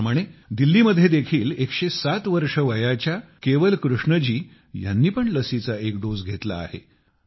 त्याचप्रमाणे दिल्लीमध्ये देखील 107 वर्षे वयाच्या केवल कृष्णजी ह्यांनी पण लसीचा एक डोस घेतला आहे